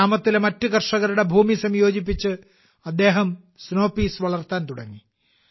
ഗ്രാമത്തിലെ മറ്റ് കർഷകരുടെ ഭൂമി സംയോജിപ്പിച്ച് അദ്ദേഹം സ്നോ പീസ് വളർത്താൻ തുടങ്ങി